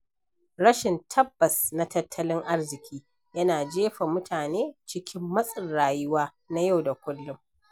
Rashin tabbas na tattalin arziki yana jefa mutane cikin matsin rayuwa na yau da kullum.